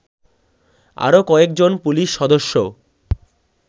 আরো কয়েকজন পুলিশ সদস্য